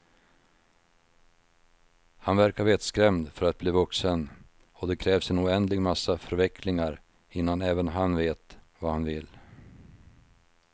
Han verkar vettskrämd för att bli vuxen och det krävs en oändlig massa förvecklingar innan även han vet vad han vill.